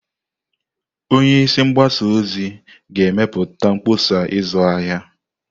Onye isi mgbasa ozi ga-emepụta mkpọsa ịzụ ahịa.